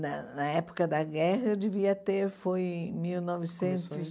Na na época da guerra, eu devia ter, foi em mil novecentos... Começou em